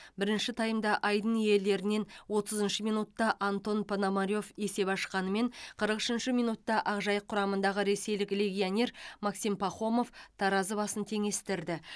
бірінші таймда айдын иелерінен отызыншы минутта антон пономарев есеп ашқанымен қырық үшінші минутта ақжайық құрамындағы ресейлік легионер максим пахомов таразы басын теңестірді